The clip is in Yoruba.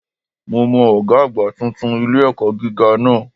Mo mọ Ògá àgbà titun ilé-ẹ̀kọ́ gíga náà